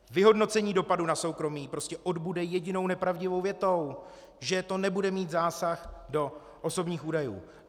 Vyhodnocení dopadu na soukromí prostě odbude jedinou nepravdivou větou, že to nebude mít zásah do osobních údajů.